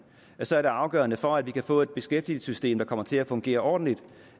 så er det afgørende for at vi kan få et beskæftigelsessystem der kommer til at fungere ordentligt